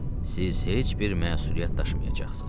Siz heç bir məsuliyyət daşımayacaqsınız.